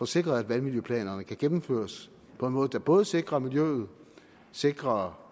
sikre at vandmiljøplanerne kan gennemføres på en måde der både sikrer miljøet sikrer